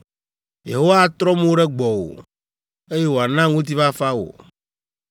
Yehowa atrɔ mo ɖe gbɔwò, eye wòana ŋutifafa wò.” ’